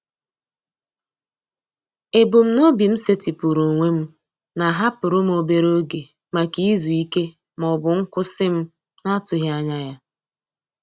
Ebumnobi m setịpụrụ onwe m na-ahapụrụ m obere oge maka izu ike ma ọ bụ nkwụsị m na-atụghị anya ya.